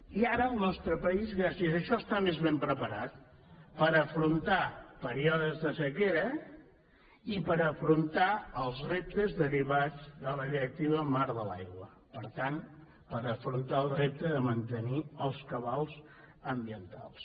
i ara el nostre país gràcies a això està més ben preparat per afrontar períodes de sequera i per afrontar els reptes derivats de la directiva marc de l’aigua per tant per afrontar el repte de mantenir els cabals ambientals